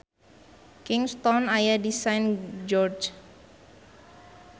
Kingstown aya di Saint George.